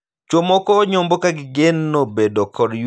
Chwo moko nyombo ka gigeno bedo kod yueyo e tije mag ot.